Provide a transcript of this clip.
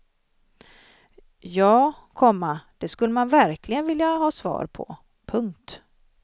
Ja, komma det skulle man verkligen vilja ha svar på. punkt